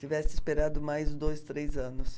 Tivesse esperado mais dois, três anos.